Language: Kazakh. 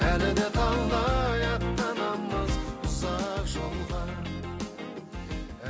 әлі де талай аттанамыз ұзақ жолға